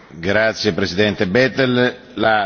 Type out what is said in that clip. La discussione è chiusa.